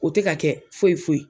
O tɛ ka kɛ foyi foyi.